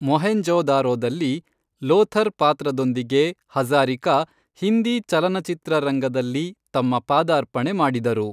ಮೊಹೆಂಜೊ ದಾರೊದಲ್ಲಿ ಲೋಥರ್ ಪಾತ್ರದೊಂದಿಗೆ ಹಜಾ಼ರಿಕಾ ಹಿಂದಿ ಚಲನಚಿತ್ರರಂಗದಲ್ಲಿ ತಮ್ಮ ಪಾದಾರ್ಪಣೆ ಮಾಡಿದರು.